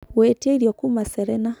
gũĩtĩa ĩrĩo kũma serena